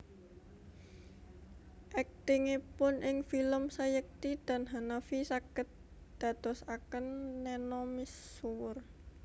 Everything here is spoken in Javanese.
Aktingipun ing film Sayekti dan Hanafi saged dadosaken Neno misuwur